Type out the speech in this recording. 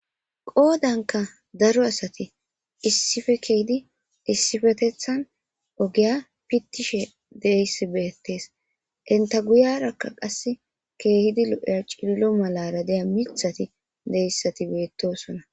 Qodanka daro asati issippe kezidi issipetethani ogiya pitiyayisi betesi , inta guyiyanka qase keehid lo'iya cililo malara de'iya methati betosona.